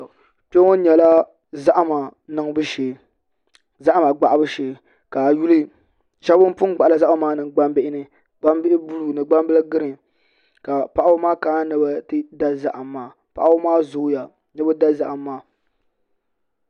Kpɛ ŋɔ nyɛla zahama gbahabu shee ka a yi yuli shab bin pun gbahala zahama maa niŋ gbambihi ni gbambihi buluu ni gbambihi giriin ka paɣaba maa kana ni bi ti da zaham maa paɣaba maa zooya ni bi da zaham maa